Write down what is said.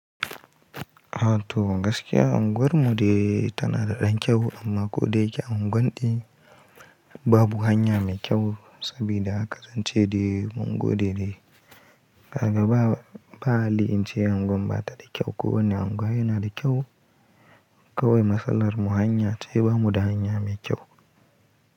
A to gaskiya unguwarmu dai tana da ɗan kyau amma ko dai ƙya unguwar ɗin babu hanya mai kyau sabida haka zance de unguwar de de gaba ba, ba a le ince unguwar ba ta da kyau kuma ne unguwar yana da kyau kawai matsalar mu hanya ce babu hanya mai kyau.